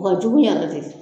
Wa jugu ya lajɛ dɛ.